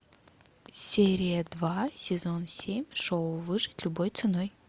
серия два сезон семь шоу выжить любой ценой